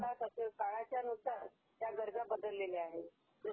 काळाच्यानुसार त्या गरजा बदललेल्या आहेत